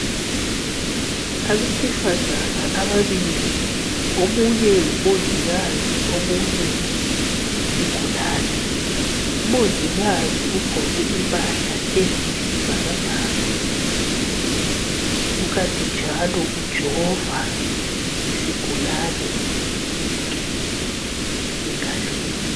Abesifazana ababili omunye ngumongikazi omunye yisigulane, umongikazi ugqoke impahla eziyisibhakabhaka kukanti njalo ujova isigulane ijekiseni engalweni